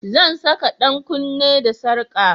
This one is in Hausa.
Zan saka 'yan kunne da sarka